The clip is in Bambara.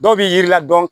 Dɔw b'i yiri la dɔn